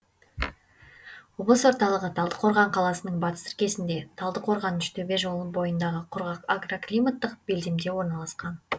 облыс орталығы талдықорған қаласының батыс іргесінде талдықорған үштөбе жолы бойындағы құрғақ агроклиматтық белдемде орналасқан